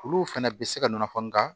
Olu fɛnɛ bɛ se ka nɔɔni nga